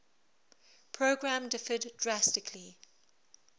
program differed drastically